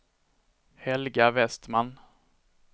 Helga Vestman